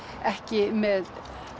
ekki með